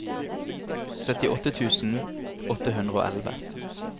syttiåtte tusen åtte hundre og elleve